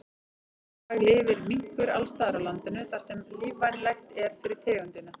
Í dag lifir minkur alls staðar á landinu þar sem lífvænlegt er fyrir tegundina.